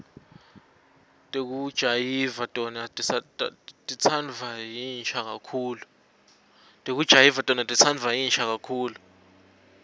tekujayiva tona titsandvwa yinsha kakhulu